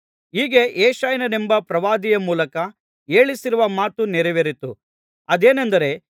ಹೀಗೆ ಯೆಶಾಯನೆಂಬ ಪ್ರವಾದಿಯ ಮೂಲಕ ಹೇಳಿಸಿರುವ ಮಾತು ನೆರವೇರಿತು ಅದೇನೆಂದರೆ